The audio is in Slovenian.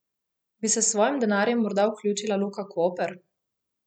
Bi se s svojim denarjem morda vključila Luka Koper?